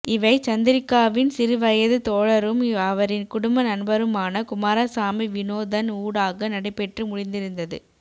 இவை சந்திரிக்காவின் சிறுவயது தோழரும் அவரின் குடும்ப நண்பருமான குமாரசாமி வினோதன் ஊடாக நடைபெற்று முடிந்திருந்தது